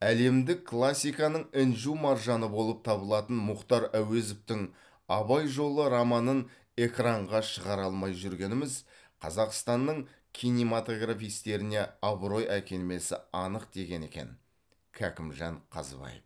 әлемдік классиканың інжу маржаны болып табылатын мұхтар әуезовтің абай жолы романын экранға шығара алмай жүргеніміз қазақстанның кинематографистеріне абырой әкелмесі анық деген екен кәкімжан қазыбаев